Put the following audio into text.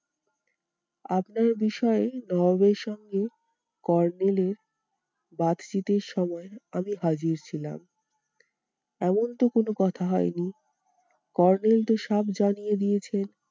আপনার বিষয়ে নবাবের সঙ্গে kornel এর সময় আমি হাজির ছিলাম। এমন তো কোনো কথা হয়নি kornel তো সাফ জানিয়ে দিয়েছেন